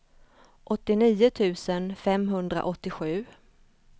åttionio tusen femhundraåttiosju